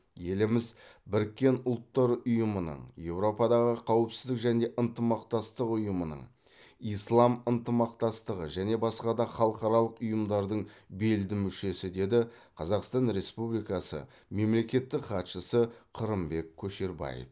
еліміз біріккен ұлттар ұйымының еуропадағы қауіпсіздік және ынтымақтастық ұйымының ислам ынтымақтастығы және басқа да халықаралық ұйымдардың белді мүшесі деді қазақстан республикасы мемлекеттік хатшысы қырымбек көшербаев